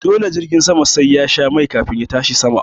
Dole jirgin sama sai yasha mai kafin ya tashi sama